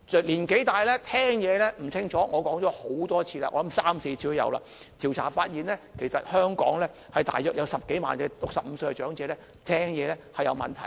年紀大聽力模糊，我說過很多次，應該有三四次，調查發現香港大約有10多萬65歲以上長者，聽力有問題。